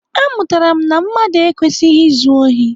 Amụtara m na mmadụ ekwesịghị izu ohi.